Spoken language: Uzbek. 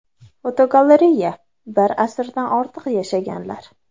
Fotogalereya: Bir asrdan ortiq yashaganlar.